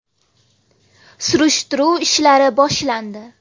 Surishtiruv ishlari boshlandi.